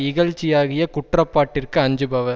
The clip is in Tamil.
இகழ்ச்சியாகிய குற்றப்பாட்டிற்கு அஞ்சுபவர்